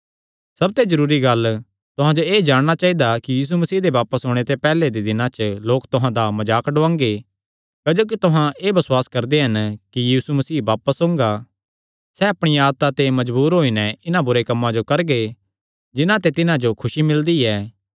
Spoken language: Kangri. सबते जरूरी गल्ल तुहां जो एह़ जाणना चाइदा कि यीशु मसीह दे बापस ओणे ते पैहल्ले दे दिनां च लोक तुहां दा मजाक डुआंगे क्जोकि तुहां एह़ बसुआस करदे हन कि यीशु मसीह बापस ओंगा सैह़ अपणिया आदता ते मजबूर होई नैं इन्हां बुरे कम्मां जो करगे जिन्हां ते तिन्हां जो खुसी मिलदी ऐ